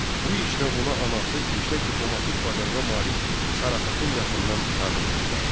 Bu işdə ona anası yüksək diplomatik bacarığa malik Sara xatun yaxından yardım göstərdi.